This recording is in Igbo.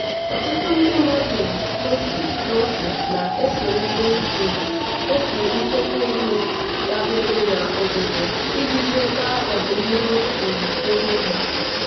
ọtụtụ ndị mmadụ otu n'otu na-esonyere um otu nchekwa ego dabere na obodo iji chekwaa ọdịnihu um ego ha.